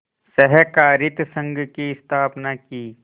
सहाकारित संघ की स्थापना की